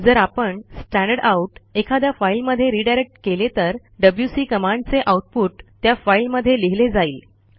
जर आपण स्टँडरडाउट एखाद्या फाईलमध्ये रिडायरेक्ट केले तर डब्ल्यूसी कमांडचे आऊटपुट त्या फाईलमध्ये लिहिले जाईल